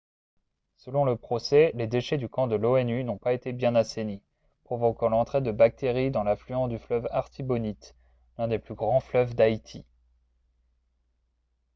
selon le procès les déchets du camp de l'onu n'ont pas été bien assainis provoquant l'entrée de bactéries dans l'affluent du fleuve artibonite l'un des plus grands fleuves d'haïti